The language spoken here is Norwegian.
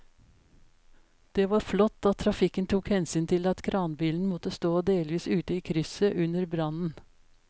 Det var flott at trafikken tok hensyn til at kranbilen måtte stå delvis ute i krysset under brannen.